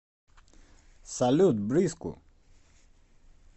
салют бриску